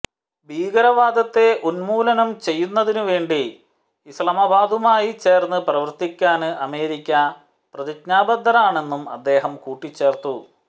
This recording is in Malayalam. ഭീകരവാദത്തെ ഉന്മൂലനം ചെയ്യുന്നതിനുവേണ്ടി ഇസ്ലാമബാദുമായി ചേര്ന്ന് പ്രവര്ത്തിക്കാന് അമേരിക്ക പ്രതിജ്ഞാബദ്ധമാണെന്നും അദ്ദേഹം കൂട്ടിച്ചേര്ത്തു